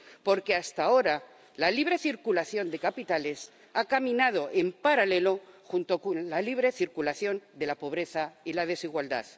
Porque, hasta ahora, la libre circulación de capitales ha caminado en paralelo con la libre circulación de la pobreza y la desigualdad.